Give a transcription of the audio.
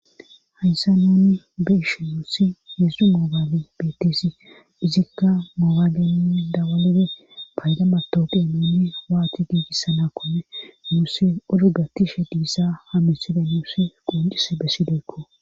hayssa nunni be ishi muussi yedzdzu moobaale beettesi izikka moogagenini dawalibe payda matooqe nuunni waati giigissana kome muussi odu gatishe diissa hamisebe nuusi qoncise bessideykko